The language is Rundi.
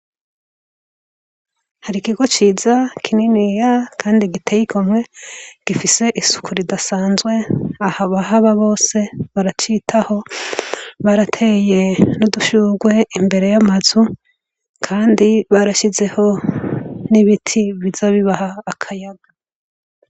Hari ikigo ciza kininiya kandi giteye igomwe gifise isuku ridasanzwe abahaba bose baracitaho barateye n’udushurwe imbere yamazu kandi barashizeho nibiti bizoza bibaha akayaga